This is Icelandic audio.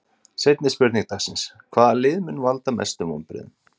Seinni spurning dagsins: Hvaða lið mun valda mestu vonbrigðum?